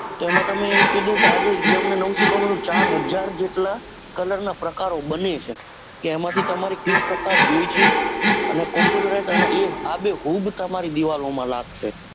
કે એમાં તમે એમ કીધું કે આજે શીખવા મળ્યું કે ચારહાજર જેટલા colour ના પ્રકારો બને છે એમાં થી તમારે કેવો પ્રકાર જોવે છે. અને computerize અને હૂબ તમારી દીવાલોમાં લાગશે.